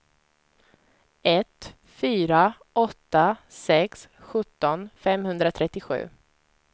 ett fyra åtta sex sjutton femhundratrettiosju